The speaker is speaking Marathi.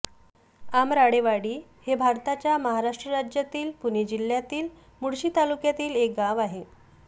आमराळेवाडी हे भारताच्या महाराष्ट्र राज्यातील पुणे जिल्ह्यातील मुळशी तालुक्यातील एक गाव आहे